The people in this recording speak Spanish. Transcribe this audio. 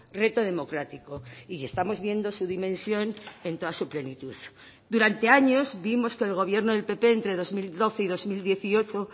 reto democrático y estamos viendo su dimensión en toda su plenitud durante años vimos que el gobierno del pp entre dos mil doce y dos mil dieciocho